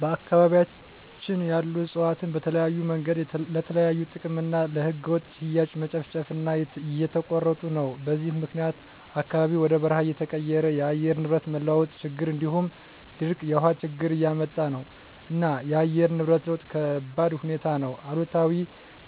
በአካባቢያቸን ያሉ እፅዋትን በተለያዮ መንገድ ለተለያዩ ጥቅም እና ለህገወጥ ሽያጭ መጨፍጨፉ እና እየተቆረጡ ነው በዚህም ምክኒያት አካባቢው ወደ በርሃ እየተቀየረ የአየር ንብረት መለዋወጥ ችግር እንዲሁም ድርቅ የውሀ ችግር እያመጣ ነው እና የአየር ንብረት ለውጥ ከባድሁኔታ ነው አሉታዊ